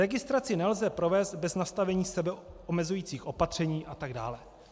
Registraci nelze provést bez nastavení sebeomezujících opatření atd.